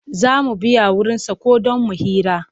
Za mu biya wurinsa ko don mu hira.